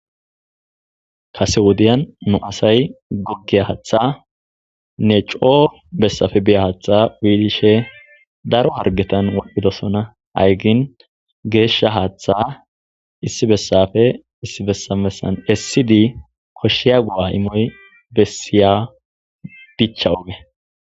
Kase wodiyan nu asay goggeya haatha ne coo bessafe biya haaththa wiilishe daro hargetan waphidosona hayygin geeshsha haaththa issi bessafe issi bessabessan essidi koshshiya go'a imoy bessiya dicha oge.